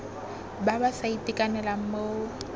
ba ba sa itekanelang mo